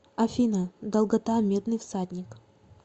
афина долгота медный всадник